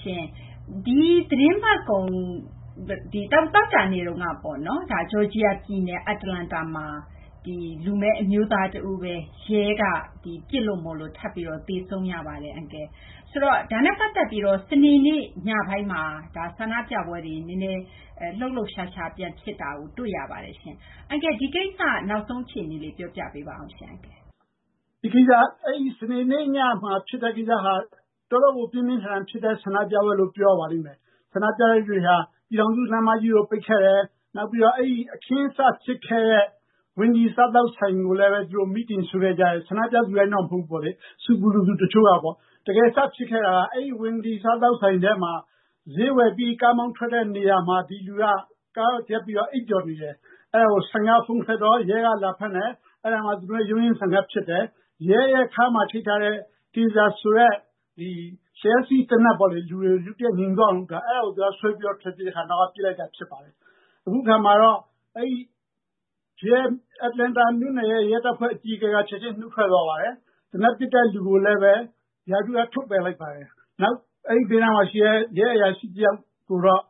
ရှင့်၊ ဒီသီတင်းပတ်ကုန် သောကြာနေ့က ဂျော်ဂျီယာပြည်နယ် Atlanta မှာ လူမည်းအမျိုးသားတဦးပဲ ရဲက ပစ်ခတ်လို့ ထပ်ပြီး သေဆုံးရပါတယ်။ ဒါနဲ့ပတ်သက်ပြီး စနေနေ့ညပိုင်းမှာ ဆန္ဒပြပွဲတွေ လှုပ်လှုပ်ရှားရှား ပြန်ဖြစ်တာ တွေ့ရပါတယ်။ ဒီကိစ္စ နောက်ဆုံးအခြေအနေလေး ပြောပြပေးပါဦး အန်ကယ်။ ဦးကျော်ဇံသာ - “စနေနေ့ညမှာ ဖြစ်တဲ့ကိစ္စဟာ တော်တော့ကို ပြင်းပြင်းထန်ထန် ဖြစ်တဲ့ ဆန္ဒပြပွဲလို့ ပြောရပါလိမ့်မယ်။ ဆန္ဒပြသူတွေက ပြည်ထောင်စုလမ်းမကြီးကို ပိတ်ခဲ့တယ်၊ ပြီးတော့ အခင်းစဖြစ်ခဲ့တဲ့ Wendy စားသောက်ဆိုင်ကိုလည်း မီးတင်ရှို့ခဲ့ကြတယ်၊ ဆန္ဒပြသူတိုင်းတော့ မဟုတ်ဘူး၊ ဆူပူလိုသူတချို့ကပေါ့။ တကယ် စဖြစ်ခဲ့တာက အဲဒီ Wendy စားသောက်ဆိုင်ထဲမှာ ဈေးဝယ်ပြီး ကားမောင်းထွက်တဲ့နေရာမှာ ဒီလူက ကားရပ်ပြီး အိပ်ပျော်နေတယ်။ အဲဒါကို ဆိုင်က ဖုန်းဆက်တော့ ရဲက လာဖမ်းတယ်။ အဲဒီမှာ ရုန်းရင်းဆန်ခတ်ဖြစ်တယ်။ ရဲရဲ့ခါးမှာချိတ်ထားတဲ့ Taser ဆိုတဲ့ လျှပ်စီးသေနတ်ပေါ့လေ၊ လူတွေကို ရုတ်တရက် ငြိမ်သွားအောင်လုပ်တာ၊ အဲဒါကို သူက ဆွဲပြီး ထွက်ပြေးတဲ့အခါ နောက်ကပစ်လိုက်တာ ဖြစ်ပါတယ်။ “အခုအခါမှာတော့ Atlanta မြို့ရဲ့ ရဲတပ်ဖွဲ့ အကြီးအကဲက ချက်ချင်း နုတ်ထွက်သွားပါတယ်။ သေနတ်ပစ်တဲ့လူကိုလည်း ရာထူးက ထုတ်ပယ်လိုက်ပါတယ်။ အဲဒီဘေးနားမှာရှိတဲ့ ရဲအရာရှိတယောက်ကိုတော့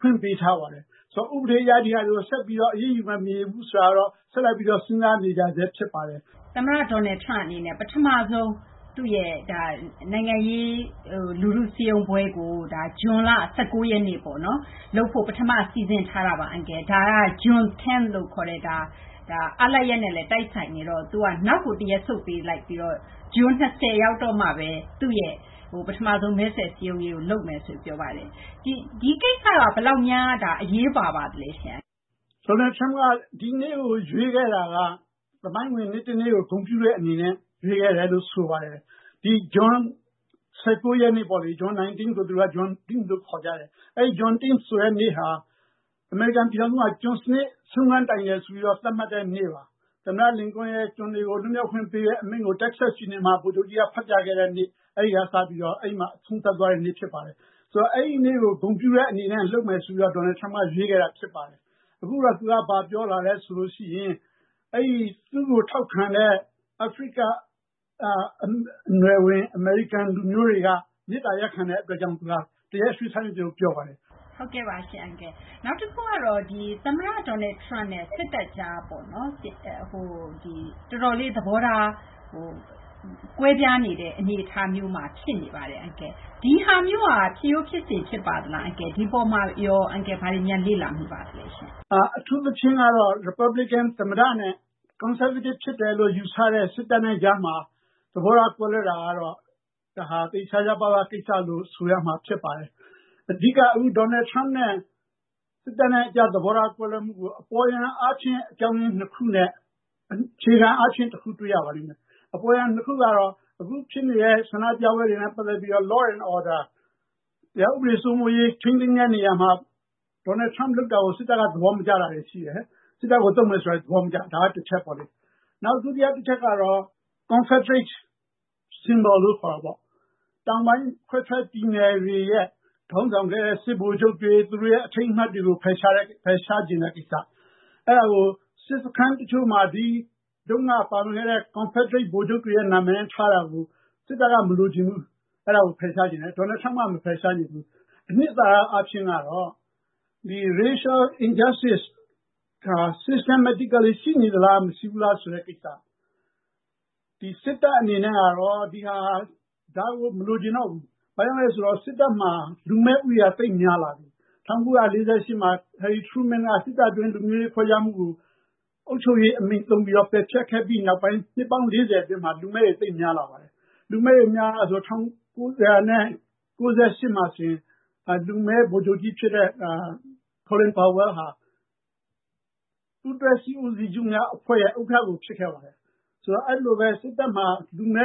ခွင့်ပေးထားပါတယ်။ ဥပဒေအရ ဒီဟာတွေကို ဆက်ပြီး အရေးယူမယ်၊ မယူဘူး ဆိုတာကိုတော့ ဆက်ပြီး စဉ်းစားနေကြဆဲ ဖြစ်ပါတယ်။” မသိင်္ဂီထိုက် - သမ္မတ Donald Trump အနေနဲ့ ပထမဆုံး သူ့ရဲ့ နိုင်ငံရေး လူထုစည်းရုံးပွဲကို ဇွန်လ ၁၉ ရက်နေ့လုပ်ဖို့ ပထမ စီစဉ်ထားတာပါ။ ဒါက Juneteenth လို့ခေါ်တဲ့ အားလပ်ရက်နဲ့လည်း တိုက်ဆိုင်နေတော့ သူက နောက်ကို တရက်ဆုတ်ပြီး ဇွန် ၂၀ ရောက်တော့မှပဲ သူ့ရဲ့ ပထမဆုံး မဲဆွယ်စည်းရုံးရေးကို လုပ်မယ်ဆိုပြီး ပြောပါတယ်။ ဒီကိစ္စက ဘယ်လောက်များ အရေးပါပါသလဲ။ ဦးကျော်ဇံသာ - “Donald Trump က ဒီနေ့ကို ရွေးခဲ့တာက သမိုင်းဝင် နေ့တနေ့ကို ဂုဏ်ပြုတဲ့အနေနဲ့ ရွေးခဲ့တယ်လို့ ဆိုပါတယ်။ ဒီ ဇွန် ၁၉ ရက်နေ့ပေါ့လေ၊ အဲဒီနေ့ကို သူတို့က Juneteenth လို့ ခေါ်ကြတယ်။ အဲဒီ Juneteenth ဆိုတဲ့နေ့ဟာ အမေရိကန်ပြည်ထောင်စုမှာ ကျွန်စနစ် ဆုံးခန်းတိုင်တယ်ဆိုပြီး သတ်မှတ်တဲ့နေ့ပါ။ သမ္မတ လင်ကွန်းရဲ့ ကျွန်တွေကို လွတ်မြောက်ခွင့်ပေးတဲ့ အမိန့်ကို Texas ပြည်နယ်မှာ ဗိုလ်ချုပ်ကြီးက ဖတ်ပြခဲ့တဲ့နေ့၊ အဲဒီကစပြီး အဲဒါ အဆုံးသတ်သွားတဲ့နေ့ ဖြစ်ပါတယ်။ ဆိုတော့ အဲဒီနေ့ကို ဂုဏ်ပြုတဲ့အနေနဲ့ လုပ်မယ်ဆိုပြီး Donald Trump က ရွေးခဲ့တာဖြစ်ပါတယ်။ အခုတော့ သူက ဘာပြောလဲဆိုရင် သူ့ကိုထောက်ခံတဲ့ အာဖရိကနွယ်ဝင် အမေရိကန်လူမျိုးတွေက မေတ္တာရပ်ခံတဲ့အတွက်ကြောင့် သူက တရက်ရွှေ့ဆိုင်းလိုက်တယ်လို့ ပြောပါတယ်။” မသိင်္ဂီထိုက် - နောက်တခုက သမ္မတ Donald Trump နဲ့ စစ်တပ်ကြား တော်တော်လေး သဘောထား ကွဲပြားနေတဲ့ အနေအထားမျိုးမှာ ဖြစ်နေပါတယ်။ ဒီဟာမျိုးက ဖြစ်ရိုးဖြစ်စဉ် ဖြစ်ပါသလား၊ ဒီအပေါ်မှာရော အန်ကယ် ဘာတွေများ လေ့လာမိပါသလဲရှင့်။ ဦးကျော်ဇံသာ - “အထူးသဖြင့်ကတော့ ရီပတ်ဘလစ်ကန် သမ္မတနဲ့ ကွန်ဆာဗေးတစ် ဖြစ်တယ်လို့ ယူဆတဲ့ စစ်တပ်နဲ့ကြားမှာ သဘောထား ကွဲလွဲတာကတော့ သိပ်ရှားရှားပါးပါးကိစ္စလို့ ဆိုရမှာ ဖြစ်ပါတယ်။ အဓိက Donald Trump နဲ့ စစ်တပ်ကြား သဘောထားကွဲလွဲမှုကို အပေါ်ယံအားဖြင့် အကြောင်းရင်း နှစ်ခုနဲ့ အခြေခံအားဖြင့် တခု တွေ့ရပါလိမ့်မယ်။ အပေါ်ယံနှစ်ခုကတော့ အခုဖြစ်နေတဲ့ ဆန္ဒပြပွဲတွေနဲ့ ပတ်သက်ပြီးတော့ Law and Order တရားဥပဒေ စိုးမိုးရေး ထိန်းသိမ်းတဲ့နေရာမှာ Donald Trump လုပ်တာကို စစ်တပ်က သဘောမကျတာတွေ ရှိတယ်။ စစ်တပ်ကိုသုံးမယ်ဆိုတာကို သဘောမကျတာ၊ ဒါက တချက်ပေါ့လေ။ “နောက် ဒုတိယတချက်ကတော့ Confederate Symbol လို့ ခေါ်တာပေါ့၊ တောင်ပိုင်း ခွဲထွက်ပြည်နယ်တွေရဲ့ ခေါင်းဆောင်ခဲ့တဲ့ စစ်ဗိုလ်ချုပ်တွေ၊ သူတို့ရဲ့ အထိမ်းအမှတ်တွေကို ဖယ်ရှားချင်တဲ့ကိစ္စ၊ အဲဒါကို စစ်စခန်းတချို့မှာ ဒီတုန်းက ပါဝင်ခဲ့တဲ့ Confederate ဗိုလ်ချုပ်တွေရဲ့ နာမည်နဲ့ ထားတာကို စစ်တပ်က မလိုချင်ဘူး၊ ဖယ်ရှားချင်တယ်။ Donald Trump က မဖယ်ရှားချင်ဘူး။ အနှစ်သာရအားဖြင့်ကတော့ Racial Injustice Systematically ရှိနေလား မရှိဘူးလားဆိုတဲ့ ကိစ္စ၊ စစ်တပ်အနေနဲ့တော့ ဒါကို မလိုချင်တော့ဘူး။ ဘာဖြစ်လို့လဲဆိုတော့ စစ်တပ်မှာ လူမည်းဦးရေက သိပ်များလာပြီ။ ၁၉၄၈ ခုနှစ်မှာ ဟယ်ရီထရူးမင်းက စစ်တပ်အတွင်း လူမျိုးရေးခွဲခြားမှုကို အုပ်ချုပ်ရေးအမိန့်သုံးပြီး ပယ်ဖျက်ခဲ့ပြီးနောက်ပိုင်း နှစ်ပေါင်း ၄၀ အတွင်းမှာ လူမည်းတွေ သိပ်များလာပါတယ်။ “၁၉၉၈ မှာဆိုရင် လူမည်းဗိုလ်ချုပ်ကြီးဖြစ်တဲ့ Colin Powell ဟာ ပူးတွဲစစ်ဦးစီးချုပ်များအဖွဲ့ရဲ့ ဥက္ကဋ္ဌကို ဖြစ်ခဲ့ပါတယ်။ အဲဒီလိုပဲ စစ်တပ်မှာ လူမ